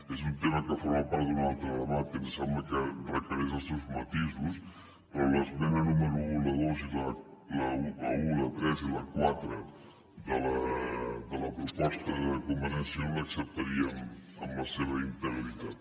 és un tema que forma part d’un altre debat que em sembla que requereix els seus matisos però l’esmena número un la dos i la un la tres i la quatre de la proposta de convergència i unió l’acceptaríem en la seva integritat